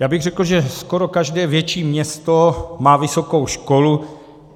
Já bych řekl, že skoro každé větší město má vysokou školu.